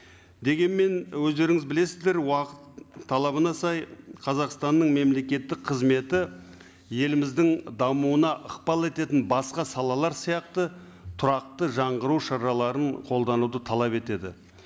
дегенмен өздеріңіз білесіздер уақыт талабына сай қазақстанның мемлекеттік қызметі еліміздің дамуына ықпал ететін басқа салалар сияқты тұрақты жаңғыру шараларын қолдануды талап етеді